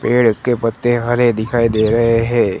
पेड़ के पत्ते हरे दिखाई दे रहे हैं।